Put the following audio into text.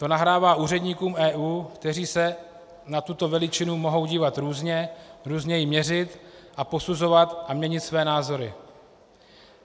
To nahrává úředníkům EU, kteří se na tuto veličinu mohou dívat různě, různě ji měřit a posuzovat a měnit své názory.